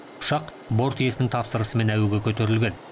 ұшақ борт иесінің тапсырысымен әуеге көтерілген